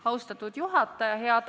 Austatud juhataja!